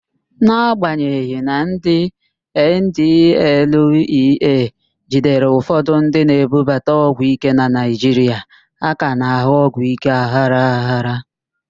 N'agbanyeghị na ndị NDLEA jidere ụfọdụ ndị na-ebubata ọgwụíké na Naịjiria, a ka na-ahụ ọgwụíké aghara aghara.